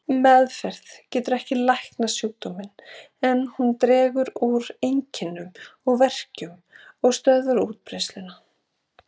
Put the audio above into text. Meðferð getur ekki læknað sjúkdóminn, en hún dregur úr einkennum og verkjum og stöðvar útbreiðsluna.